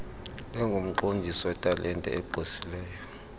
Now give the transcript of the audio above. lingumqondiso wetalente egqwesileyo